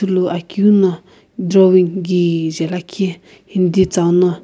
ithulu akeu no drawing kijae lakhi hindi tsiino.